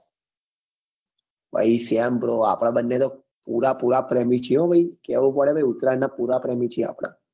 આપડે બંને તો પુરા પુરા પ્રેમી છીએ હો ભાઈ કેવું પડે આપડે ઉતાય્રાયણ ના પુરા પ્રેમી છીએ આપડે